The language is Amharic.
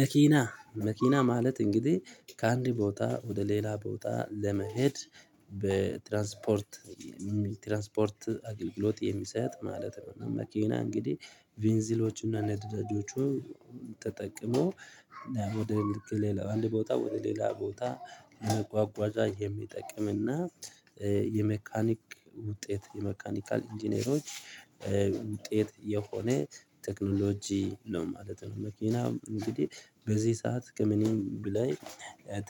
መኪና መኪና ማለት እንግዲህ ከአንድ ቦታ ወደ ሌላ ቦታ ለመሄድ በትራንስፖርት የሚል ትራንስፖርት አገልግሎት የሚሰጥ ማለት ነው። መኪና እንግዲህ ቬንዚሎችና ነዳዳጆች ተጠቅሞ ወደ ልክ ሌላ አንድ ቦታ ወደ ሌላ ቦታ መጓጓዣ የሚጠቅም እና የመካኒክ ውጤት የመካኒካል ኢንጂነሮች ውጤት የሆነ ቴክኖሎጂ ነው ማለት ነው። መኪና እንግዲህ በዚህ ሰዓት ከምንም በላይ